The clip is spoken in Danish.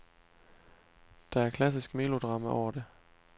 Der er klassisk melodrama over det.